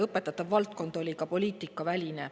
Õpetatav valdkond on poliitikaväline.